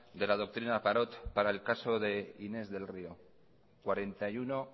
de la doctrina parot para el caso de inés del río cuarenta y uno